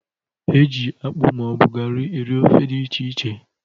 E ji akpụ ma ọ bụ garị eri ofe dị iche iche.